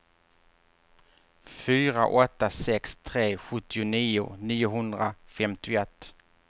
fyra åtta sex tre sjuttionio niohundrafemtioett